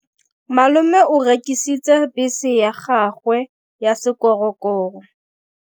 Malome o rekisitse bese ya gagwe ya sekgorokgoro.